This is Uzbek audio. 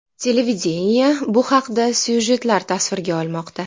Televideniye bu haqda syujetlar tasvirga olmoqda.